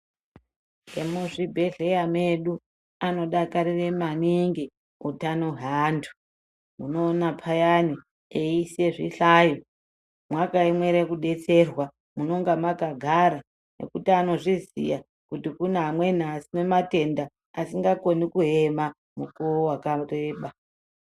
Vemuzvibhedhlera medu anodakarira maningi utano hweantu. Unoona payani veiise zvihlayo mwakaemera kudetserwa munenge mwakagara ngekuti vanozviziya kuti kune amweni ane matenda asingakoni kuema mukuwo wakareba.